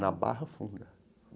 Na Barra Funda.